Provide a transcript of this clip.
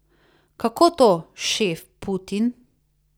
Kako to, šef Putin?